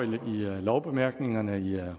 med og